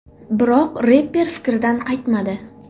Biroq reper fikridan qaytmadi.